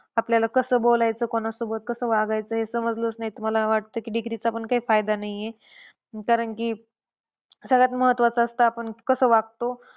आपल्याला कस बोलायचं, कोणासोबत कस वागायचं हेच समजलंच नाही तर, मला वाटतं की degree चा पण काही फायदा नाही आहे. कारण की सगळ्यात महत्वाचं असतं आपण कसं वागतो.